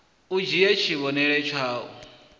u dzhie tshivhonelo tshau d